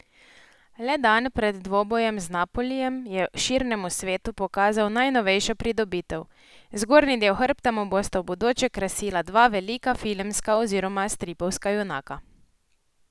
Le dan pred dvobojem z Napolijem je širnemu svetu pokazal najnovejšo pridobitev, zgornji del hrbta mu bosta v bodoče krasila dva velika filmska oziroma stripovska junaka.